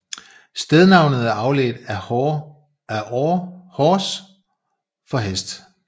Stednavnet er afledt af hors for hest